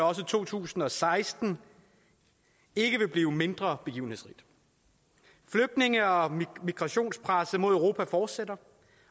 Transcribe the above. også to tusind og seksten ikke vil blive mindre begivenhedsrigt flygtninge og migrationspresset mod europa fortsætter